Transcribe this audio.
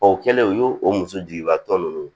O kɛlen u y'o muso jigiba tɔ nunnu